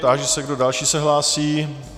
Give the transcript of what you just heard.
Táži se, kdo další se hlásí.